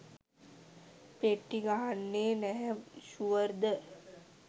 පෙට්ටි ගහන්නෙ නැහැ ෂුවර්ද